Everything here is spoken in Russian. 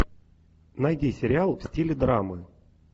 найди сериал в стиле драмы